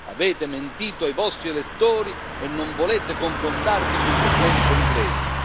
Avete mentito ai vostri elettori e non volete confrontarvi sui problemi concreti.